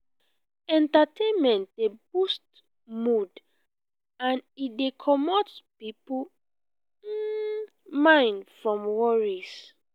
entertainment dey boost mood and e dey comot pipo mind from worries